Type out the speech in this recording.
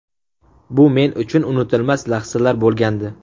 Bu men uchun unutilmas lahzalar bo‘lgandi.